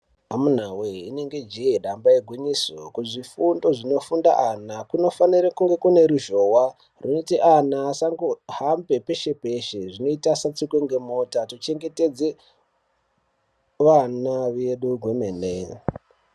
Amunawe inenge jee damba igwinyiso kuzvifundo zvinofunda ana kunofanira kunge kune ruzhowa runoite ana asangohambe peshe peshe zvinoite asatsikwe ngemota tochengetedze vana vedu kwemene.